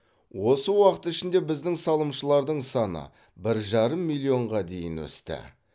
осы уақыт ішінде біздің салымшылардың саны бір жарым миллионға дейін өсті